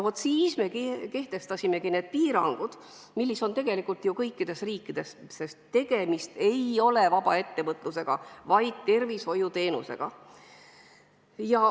Siis me kehtestasimegi need piirangud, mis tegelikult on olemas ju kõikides riikides, sest tegemist ei ole vabaettevõtlusega, vaid tervishoiuteenusega.